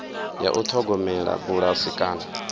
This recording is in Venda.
ya u ṱhogomela bulasi kana